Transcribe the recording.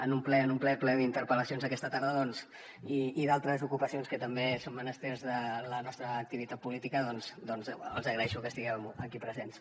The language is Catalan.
en un ple ple d’interpel·lacions aquesta tarda i d’altres ocupacions que també són menesters de la nostra activitat política doncs els hi agraeixo que estiguin aquí presents